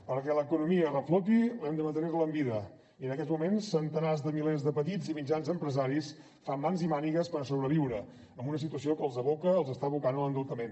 perquè l’economia refloti l’hem de mantenir en vida i en aquests moments centenars de milers de petits i mitjans empresaris fan mans i mànigues per sobreviure en una situació que els aboca els està abocant a l’endeutament